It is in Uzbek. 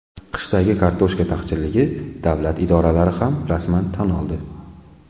Qishdagi kartoshka taqchilligini davlat idoralari ham rasman tan oldi.